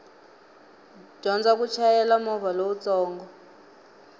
dyondza ku chayela movha lowutsongo